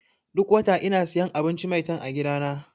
Duk wata ina siyan abinci 'Maitan' a gidana.